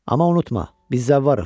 Amma unutma, biz zəvvarıq.